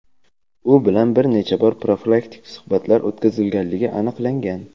u bilan bir necha bor profilaktik suhbatlar o‘tkazilganligi aniqlangan.